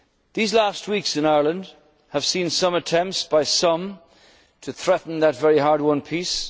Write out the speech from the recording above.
on our island. These last weeks in Ireland have seen some attempts by some to threaten that very